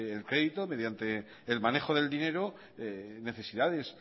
el crédito mediante el manejo del dinero necesidades